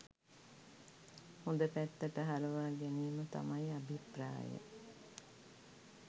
හොඳ පැත්තට හරවා ගැනීම තමයි අභිප්‍රාය.